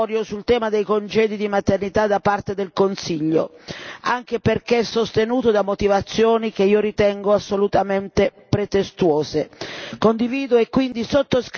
È inaccettabile l'atteggiamento dilatorio sul tema dei congedi di maternità da parte del Consiglio, anche perché è sostenuto da motivazioni che io ritengo assolutamente pretestuose.